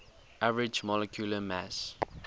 average molecular mass